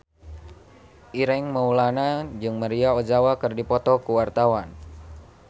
Ireng Maulana jeung Maria Ozawa keur dipoto ku wartawan